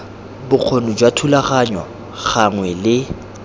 bokgoni jwa thulaganyo gangwe le